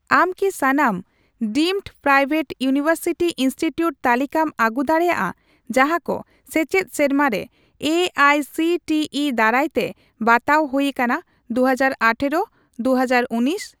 ᱟᱢ ᱠᱤ ᱥᱟᱱᱟᱢ ᱰᱤᱢᱰ ᱯᱨᱟᱭᱵᱷᱮᱴ ᱤᱭᱩᱱᱤᱶᱮᱨᱥᱤᱴᱤ ᱤᱱᱥᱴᱤᱴᱤᱭᱩᱴ ᱛᱟᱞᱤᱠᱟᱢ ᱟᱹᱜᱩ ᱫᱟᱲᱮᱭᱟᱜᱼᱟ ᱡᱟᱦᱟᱸᱠᱚ ᱥᱮᱪᱮᱫ ᱥᱮᱨᱢᱟᱨᱮ AICTE ᱫᱟᱨᱟᱭᱛᱮ ᱵᱟᱛᱟᱣ ᱦᱩᱭ ᱟᱠᱟᱱᱟ 2018 - 2019 ?